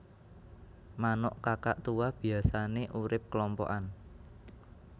Manuk Kakatua biyasané urip klompokan